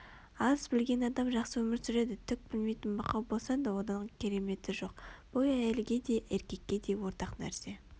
аз білген адам жақсы өмір сүреді түк білмейтін мақау болсаң одан кереметі жоқ бұл әйелге де еркекке де ортақ нәрсе